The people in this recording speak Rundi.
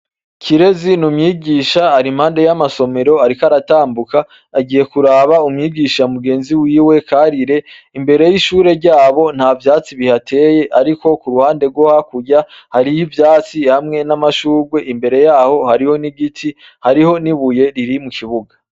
kirezi numyigisha ari impande y'amasomero ariko aratambuka agiye kuraba umyigisha mugenzi wiwe karire imbere y'ishure ryabo nta byatsi bihateye ariko ku ruhande goha kurya hariyo ibyatsi hamwe n'amashurwe imbere yaho hariho n'igiti hariho nibuye riri mu kibuga